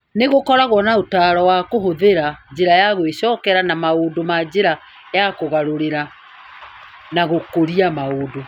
Nĩ gũkoragwo na ũtaaro wa kũhũthĩra njĩra ya gwicokera na maũndũ na njĩra ya kũgarũrĩra na gũkũria maũndũ.